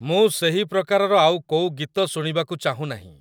ମୁଁ ସେହି ପ୍ରକାରର ଆଉ କୋଉ ଗୀତ ଶୁଣିବାକୁ ଚାହୁଁ ନାହିଁ